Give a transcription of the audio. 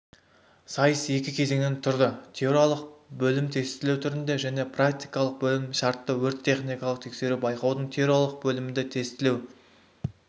сайыс екі кезеңнен тұрды теориялық бөлім-тестілеу түрінде және практикалық бөлімі-шартты өрт-техникалық тексеру байқаудың теориялық бөлімінде тестілеу